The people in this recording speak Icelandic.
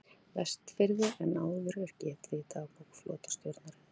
Vestfirði en áður er getið í dagbók flotastjórnarinnar